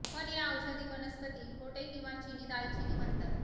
पण या औषधी वनस्पती खोटे किंवा चीनी दालचिनी म्हणतात